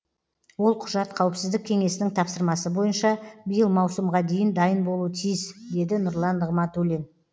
ол құжат қауіпсіздік кеңесінің тапсырмасы бойынша биыл маусымға дейін дайын болуы тиіс деді нұрлан нығматулин